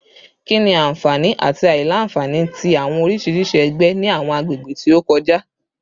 Kini awọn anfani ati aila-nfani ti awọn oriṣiriṣi ẹgbẹ ni awọn agbegbe ti o kọja?